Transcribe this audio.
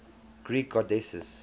greek goddesses